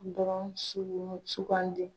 Dɔrɔn sugu sugandi.